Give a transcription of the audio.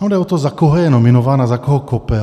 Ono jde o to, za koho je nominována, za koho kope.